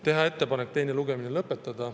Teha ettepanek teine lugemine lõpetada.